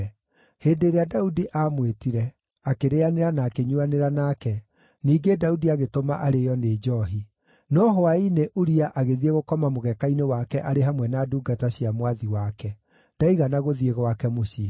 Hĩndĩ ĩrĩa Daudi aamwĩtire, akĩrĩĩanĩra na akĩnyuuanĩra nake, ningĩ Daudi agĩtũma arĩĩo nĩ njoohi. No hwaĩ-inĩ Uria agĩthiĩ gũkoma mũgeeka-inĩ wake arĩ hamwe na ndungata cia mwathi wake; ndaigana gũthiĩ gwake mũciĩ.